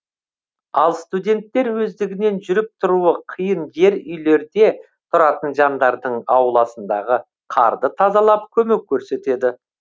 ал студенттер өздігінен жүріп тұруы қиын жер үйлерде тұратын жандардың ауласындағы қарды тазалап көмек көрсетеді